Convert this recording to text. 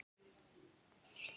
Það harma þig allir heima.